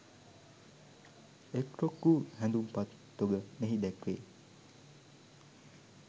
එක්‌රොක්‌ වූ හැඳුම්පත් තොග මෙහි දැක්‌වේ.